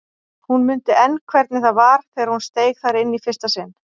Hún mundi enn hvernig það var þegar hún steig þar inn í fyrsta sinn.